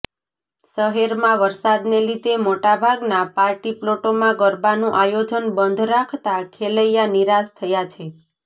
શહેરમાં વરસાદને લીધે મોટાભાગના પાર્ટી પ્લોટોમાં ગરબાનું આયોજન બંધ રાખતા ખેલૈયા નિરાશ થયા છે